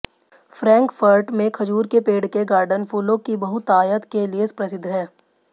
Frankfurt में खजूर के पेड़ के गार्डन फूलों की बहुतायत के लिए प्रसिद्ध है